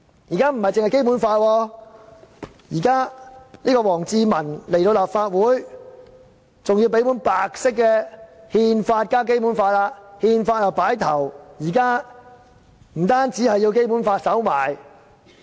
而且，除了《基本法》之外，王志民到訪立法會時還要多送一本書面是白色的憲法，放在《基本法》的上面。